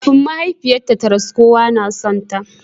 Kafin mahaifiyarta ta rasu, kowa na sonta.